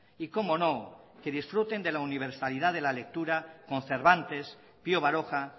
y cómo no que disfruten de la universalidad de la lectura con cervantes pío baroja